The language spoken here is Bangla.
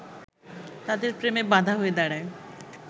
তাদের প্রেমে বাধা হয়ে দাঁড়ায়